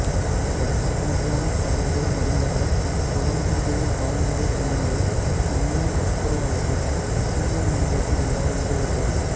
இலட்சக்கணக்கிலான கழுகுகள் மடிந்ததால் குளம்புடைய கால்நடைப் பிணங்களைத் தின்னும் துப்புரவாளர்கள் சூழல் மண்டலத்தில் இல்லாத நிலை ஏற்பட்டது